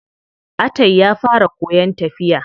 Atai ya fara koyan tafiya.